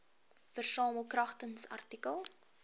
versamel kragtens artikel